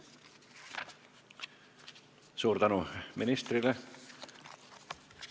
Suur tänu ministrile!